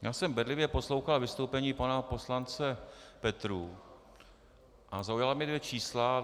Já jsem bedlivě poslouchal vystoupení pana poslance Petrů a zaujala mě dvě čísla.